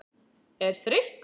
er þreyttur?